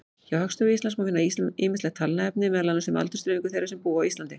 Hjá Hagstofu Íslands má finna ýmislegt talnaefni, meðal annars aldursdreifingu þeirra sem búa á Íslandi.